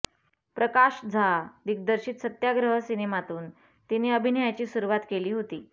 प्रकाश झा दिग्दर्शित सत्याग्रह सिनेमातून तिने अभिनयाची सुरुवात केली होती